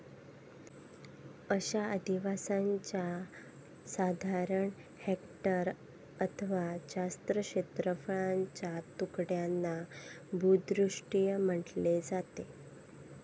अशा आधिवासांच्या साधारण हेक्टर अथवा जास्त क्षेत्रफळाच्या तुकड्यांना भूदृषिय म्हटले जाते.